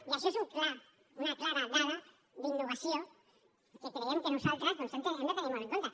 i això és una clara dada d’innovació que creiem que nosaltres doncs hem de tenir molt en compte